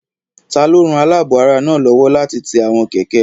Taló ran alaabo ara náà lówó láti ti àwọn kẹ̀kẹ́ rẹ?